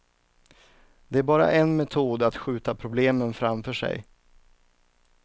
Det är bara en metod att skjuta problemen framför sig.